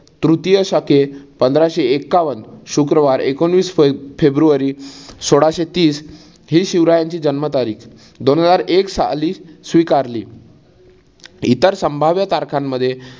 तृतीय शके पंधराशे एक्कावन शुक्रवार एकोणवीस फे फेब्रुवारी सोळाशे तीस हि शिवरायांची जन्म तारीख दोनहजार एक साली स्वीकारली. इतर संभाव्य तारखांमध्ये